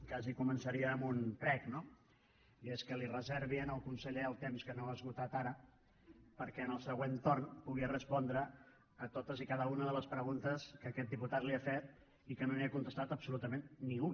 quasi començaria amb un prec i és que li reservi al conseller el temps que no ha esgotat ara perquè en el següent torn pugui respondre a totes i cada una de les preguntes que aquest diputat li ha fet i que no li n’ha contestat absolutament ni una